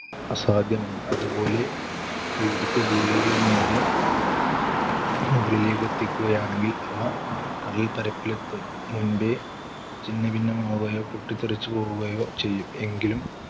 അസാധ്യമാണ്. അതുപോലെ ഇവിടത്തെ ജീവികളെ നേരെ മുകളിലേക്കെത്തിക്കുകയാണെങ്കിൽ അവ കടൽപ്പരപ്പിലെത്തും മുൻപേ ഛിന്നഭിന്നമാകുകയോ പൊട്ടിത്തെറിച്ചുപോകുകയോ ചെയ്യും. എങ്കിലും